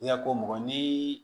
I ka ko mɔgɔ ni